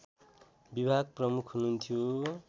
विभाग प्रमुख हुनुहन्थ्यो